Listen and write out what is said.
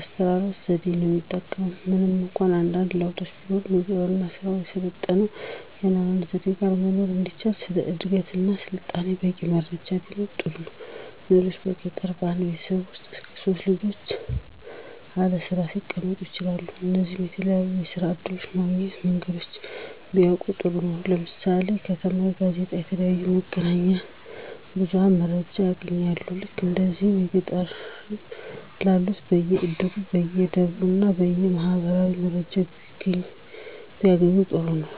አስተራረስ ዘዴ ነው የሚጠቀም ምንም እንኳ አንዳንድ ለውጦች ቢኖሩም። የግብርና ስራን ከሰለጠነ የአኗኗር ዘዴ ጋረ መኖር እንዲቻል ስለ እድገትና ስልጣኔ በቂ መረጃም ቢኖር ጥሩ ነው። ሌላው በገጠር በአንድ ቤተሰብ ውስጥ እስከ 3 ልጆች አለስራ ሊቀመጡ ይችላሉ ስለዚህ የተለያዩ የስራ እድሎች ማግኛ መንገዶችን ቢያውቁ ጥሩ ነው። ለምሳሌ ከተማ በጋዜጣ፣ በተለያዩ የመገናኛ ብዙኃን መረጃ ያገኛሉ። ልክ እንደዚህ በገጠርም ላሉት በየ እድሩ፣ በየደብሩ እና በየ ማኅበራቱ መረጃ ቢያገኙ ጥሩ ነው